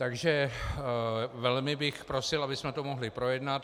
Takže velmi bych prosil, abychom to mohli projednat.